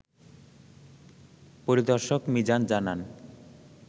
পরিদর্শক মিজান জানান